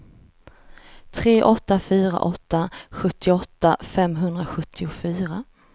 tre åtta fyra åtta sjuttioåtta femhundrasjuttiofyra